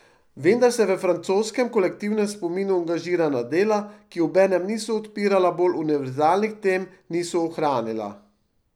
Vendar se v francoskem kolektivnem spominu angažirana dela, ki obenem niso odpirala bolj univerzalnih tem, niso ohranila.